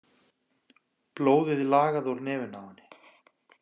Blóðið lagaði úr nefinu á henni.